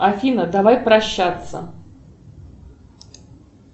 афина давай прощаться